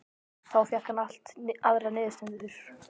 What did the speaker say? Þá fékk hann allt aðrar niðurstöður.